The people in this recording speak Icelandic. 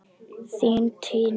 Þín Tanya.